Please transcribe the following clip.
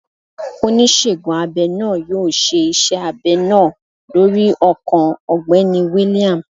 Onísegun abẹ naa yoo ṣe iṣẹ abẹ naa lorí ọkàn Ọgbẹni William.